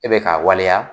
E bɛ k'a waleya